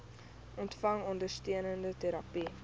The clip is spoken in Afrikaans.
ontvang ondersteunende terapie